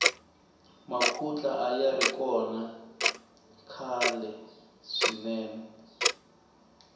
makhutla ayari kona khalwe swinene